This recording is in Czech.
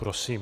Prosím.